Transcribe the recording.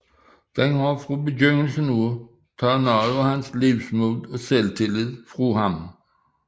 Den har fra begyndelsen af taget noget af hans livsmod og selvtillid fra ham